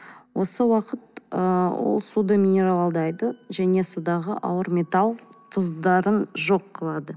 осы уақыт ы ол суды минералдайды және судағы ауыр металл тұздарын жоқ қылады